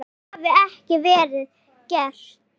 Það hafi ekki verið gert.